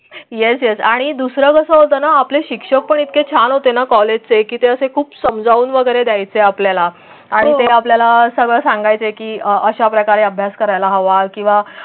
SS आणि दुसरं कस होत ना आपले शिक्षक पण इतके छान होते. कॉलेजचे किती असे खूप समजावून वगैरे द्यायची आहे आपल्याला आणि ते आपल्याला सगळं सांगायचं की अशा प्रकारे अभ्यास करायला हवा किंवा.